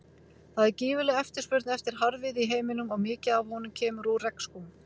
Það er gífurleg eftirspurn eftir harðviði í heiminum og mikið af honum kemur úr regnskógum.